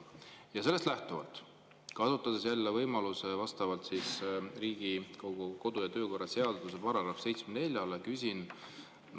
Ja sellest lähtuvalt, kasutades jälle vastavalt Riigikogu kodu‑ ja töökorra seaduse §-le 74 võimalust, küsin.